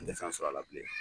N tɛ fɛ sɔrɔ a la bile.